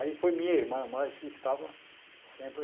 Aí foi minha irmã mais que estava sempre